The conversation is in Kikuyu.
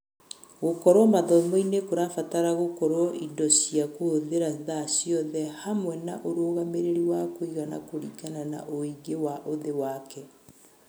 Gũkorwo mathomo-inĩ kũrabatara gũkorwo indo cia kũhũthĩra thaa ciothe, hamwe na ũrũgamĩrĩri wa kũigana kũringana na ũingĩ wa ũthĩ wake.